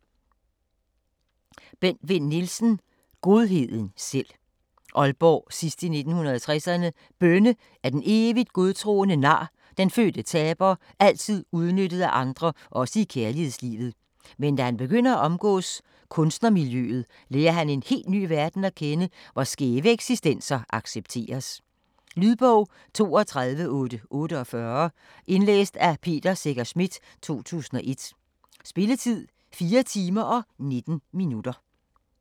Vinn Nielsen, Bent: Godheden selv Aalborg sidst i 1960'erne. Bønne er den evigt godtroende nar, den fødte taber, altid udnyttet af andre også i kærlighedslivet. Men da han begynder at omgås kunstnermiljøet, lærer han en helt ny verden at kende, hvor skæve eksistenser accepteres. Lydbog 32848 Indlæst af Peter Secher Schmidt, 2001. Spilletid: 4 timer, 19 minutter.